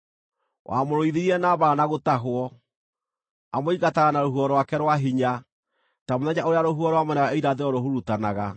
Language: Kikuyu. Wamũrũithirie na mbaara na gũtahwo: amũingataga na rũhuho rwake rwa hinya, ta mũthenya ũrĩa rũhuho rwa mwena wa irathĩro rũhurutanaga.